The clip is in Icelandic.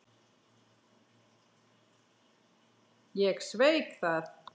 Ég sveik það.